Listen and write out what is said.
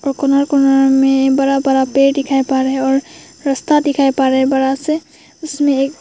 corner corner में बड़ा बड़ा पेड़ दिखाई पड़ रहा है और रास्ता दिखाई पड़ रहा है बड़ा से उसमें एक--